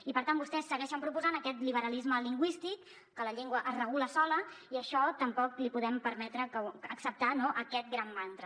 i per tant vostès segueixen proposant aquest liberalisme lingüístic que la llengua es regula sola i això tampoc l’hi podem permetre acceptar no aquest gran mantra